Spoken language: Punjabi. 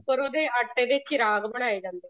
ਉੱਪਰ ਉਹਦੇ ਆਟੇ ਤੇ ਦੇ ਚਿਰਾਗ ਬਣਾਏ ਜਾਂਦੇ ਨੇ